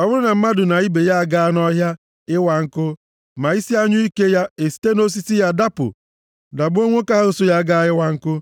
Ọ bụrụ na mmadụ na ibe ya agaa nʼọhịa ịwa nkụ ma isi anyụike ya esite nʼosisi ya dapụ dagbuo nwoke ahụ so ya gaa ịwa nkụ,